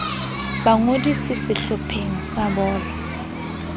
ba ngodise sehlopheng sa bolo